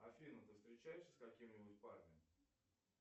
афина ты встречаешься с каким нибудь парнем